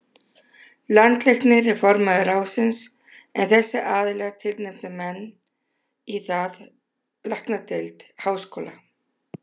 Landlæknir er formaður ráðsins, en þessir aðilar tilnefna menn í það: Læknadeild Háskóla